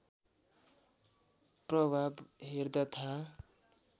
प्रभाव हेर्दा थाहा